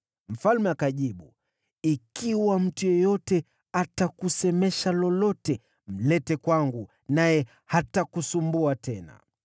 Mfalme akajibu, “Ikiwa mtu yeyote atakusemesha lolote, mlete kwangu, naye hatakusumbua tena.”